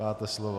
Máte slovo.